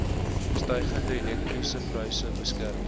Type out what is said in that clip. stygende elektrisiteitspryse beskerm